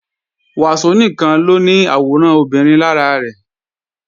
Wàsó nìkan ló ní àwòrán obìnrin lára rẹ̀